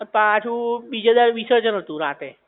પછી પાછું બીજે દાડે વિસર્જન હતું રાતે.